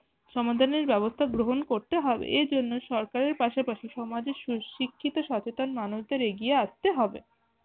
সমাধানের ব্যবস্থা গ্রহণ করতে হবে এ জন্য সরকারের পাশাপাশি সমাজের সুশিক্ষিত সচতেন মানুষদের এগিয়ে আসতে হবে।